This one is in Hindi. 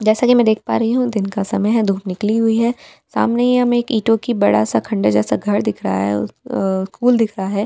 जैसा कि मैं देख पा रही हूं दिन का समय है धूप निकली हुई है सामने ही हम एक ईटो की बड़ा सा खंड जैसा घर दिख रहा है स्कूल दिख रहा है।